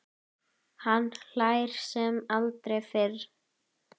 Hann hlær sem aldrei fyrr.